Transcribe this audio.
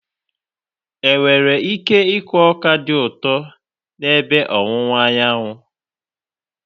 Enwere ike ịkụ ọka dị ụtọ n'ebe ọwụwa Anyanwụ?